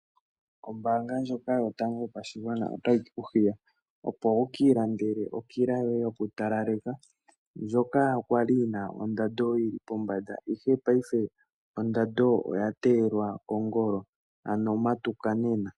Ombanga ndjoka yotango yopashigwana otayi ku hiya opo wuki ilandele okila yoye yoku talaleka. Ndjoka kwali yina ondando yili pombanda ihe paife ondando oya teyelwa kongolo. Ano matuka nena.